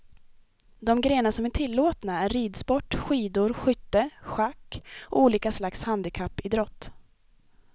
De grenar som är tillåtna är ridsport, skidor, skytte, schack och olika slags handikappidrott.